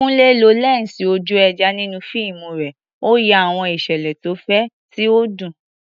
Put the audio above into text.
Kunle lo lẹ́ńsì ojú ẹja nínú fíìmù rẹ̀, ó ya àwọn ìṣẹ̀lẹ̀ tó fẹ̀, tí ó dùn.